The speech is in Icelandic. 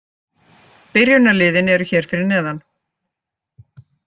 Byrjunarliðin eru hér fyrir neðan.